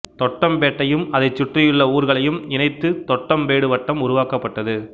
தொட்டம்பேட்டையும் அதைச் சுற்றியுள்ள ஊர்களையும் இணைத்து தொட்டம்பேடு வட்டம் உருவாக்கப்பட்டது